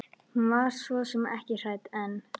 Hún var svo sem ekki hrædd en.